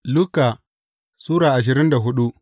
Luka Sura ashirin da hudu